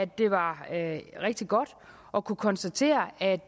det var rigtig godt at kunne konstatere at